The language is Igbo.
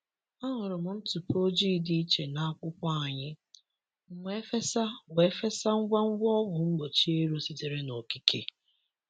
Ahụrụ m ntụpọ ojii dị iche na akwụkwọ anyị, m wee fesa wee fesa ngwa ngwa ọgwụ mgbochi ero sitere n’okike.